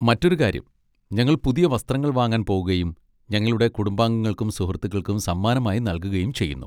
മറ്റൊരു കാര്യം, ഞങ്ങൾ പുതിയ വസ്ത്രങ്ങൾ വാങ്ങാൻ പോകുകയും ഞങ്ങളുടെ കുടുംബാംഗങ്ങൾക്കും സുഹൃത്തുക്കൾക്കും സമ്മാനമായി നൽകുകയും ചെയ്യുന്നു.